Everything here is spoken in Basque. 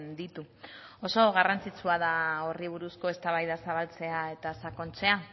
ditu oso garrantzitsua da horri buruzko eztabaida zabaltzea eta sakontzea